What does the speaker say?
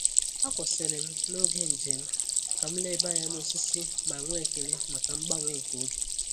A kwụsịrị m n’oge njem ka m leba anya na osisi ma nwee ekele maka mgbanwe nke oge.